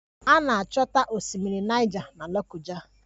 A na-achọta Osimiri Naịja na Lokoja